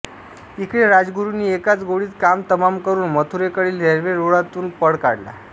इकडे राजगुरूंनी एकाच गोळीत काम तमाम करून मथुरेकडील रेल्वेरुळांतून पळ काढला